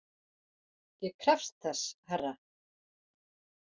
Ég krefst þess herra!